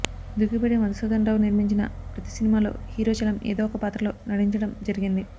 దుక్కిపాటి మధుసూధనరావు నిర్మించిన ప్రతి సినిమాలో హీరో చలం ఏదో ఒకపాత్రలో నటించటం జరిగింది